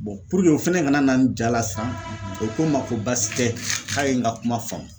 puruke o fɛnɛ kana na n ja la siran, o ko n ma ko baasi tɛ k'a ye n ka kuma faamu